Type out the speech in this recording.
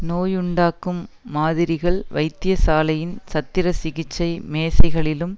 நோயுண்டாக்கும் மாதிரிகள் வைத்தியசாலையின் சத்திரசிகிச்சை மேசைகளிலும்